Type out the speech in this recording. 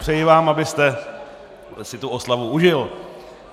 Přeji vám, abyste si tu oslavu užil.